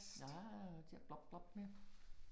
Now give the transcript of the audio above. Ah, til at blop blop med